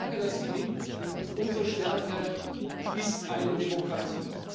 Je stärker das gelingt, umso stärker ist eine Demokratie.